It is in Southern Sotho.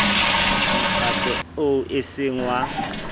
mokgatlo oo e seng wa